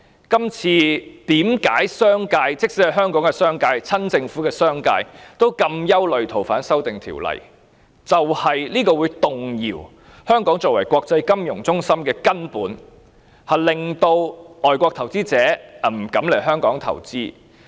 即使是香港的商界，甚至是親政府的商界，對於這次修例同樣感到憂慮，原因是這次修訂會動搖香港作為國際金融中心的根本，令外國投資者不敢來港投資。